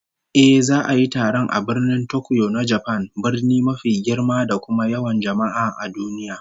Ehh, za'a yi taron a Birnin Tokyo na Japan, birni mafi girma da kuma yawan jama'a a duniya